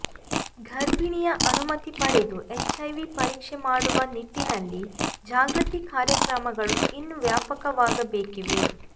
ಗರ್ಭಿಣಿಯ ಅನುಮತಿ ಪಡೆದು ಎಚ್ಐವಿ ಪರೀಕ್ಷೆ ಮಾಡುವ ನಿಟ್ಟಿನಲ್ಲಿ ಜಾಗೃತಿ ಕಾರ್ಯಕ್ರಮಗಳು ಇನ್ನೂ ವ್ಯಾಪಕವಾಗಬೇಕಿವೆ